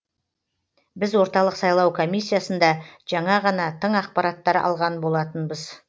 біз орталық сайлау комиссиясында жаңа ғана тың ақпараттар алған болатынбыз